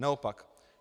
Naopak.